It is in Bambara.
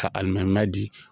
Ka di